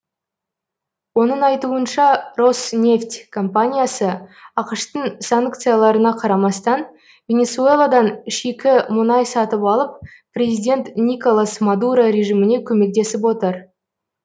оның айтуынша роснефть компаниясы ақш тың санкцияларына қарамастан венесуэладан шикі мұнай сатып алып президент николас мадуро режиміне көмектесіп отыр